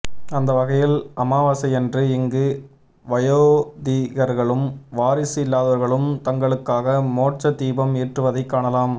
அந்த வகையில் அமாவாசையன்று இங்கு வயோதிகர்களும் வாரிசு இல்லாதவர்களும் தங்களுக்காக மோட்ச தீபம் ஏற்றுவதைக் காணலாம்